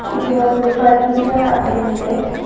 ಇದು ಒಂದು ಫರ್ನಿಚರ್ ಅಂಗ್ಡಿ ಇದೆ.